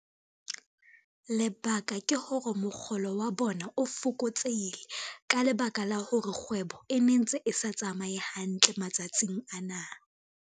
Lebaka ke hore mokgolo wa bona o fokotsehile ka lebaka la hore kgwebo e ne ntse e sa tsamaye hantle matsatsing ana.